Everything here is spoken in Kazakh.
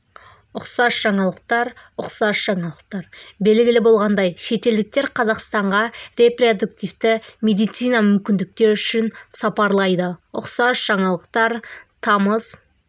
ұқсас жаңалықтар ұқсас жаңалықтар белгілі болғандай шетелдіктер қазақстанға репродуктивті медицина мүмкіндіктері үшін сапарлайды ұқсас жаңалықтар тамыз